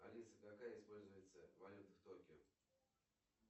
алиса какая используется валюта в токио